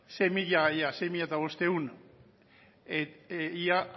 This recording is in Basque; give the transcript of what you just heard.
sei mila bostehun ia